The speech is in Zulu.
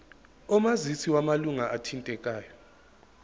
omazisi wamalunga athintekayo